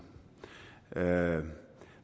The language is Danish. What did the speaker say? her